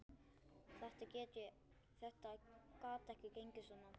Þetta gat ekki gengið svona.